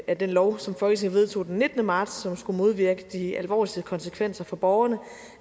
af den lov som folketinget vedtog den nittende marts og som skulle modvirke de alvorligste konsekvenser for borgerne